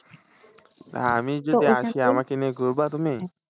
আমি যদি আসি আমাকে নিয়ে ঘুরবা তুমি।